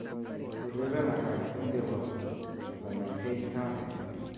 Ureren akal eng chebo Sanaipei Tande